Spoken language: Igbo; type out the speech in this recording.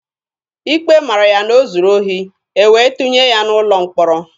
Ikpe mara ya na o zuru ohi, e wee tụnye ya n'ụlọ mkpọrọ.